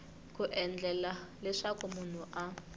ku endlela leswaku munhu a